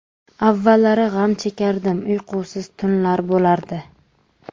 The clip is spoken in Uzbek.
Avvallari g‘am chekardim, uyqusiz tunlar bo‘lardi.